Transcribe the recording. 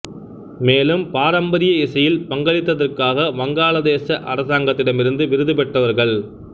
மேலும் பாரம்பரிய இசையில் பங்களித்ததற்காக வங்காளதேச அரசாங்கத்திடமிருந்து விருது பெற்றவர்கள்